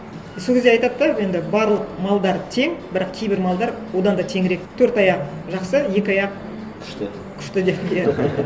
и сол кезде айтады да енді барлық малдар тең бірақ кейбір малдар одан да теңірек төрт аяқ жақсы екі аяқ күшті күшті деп иә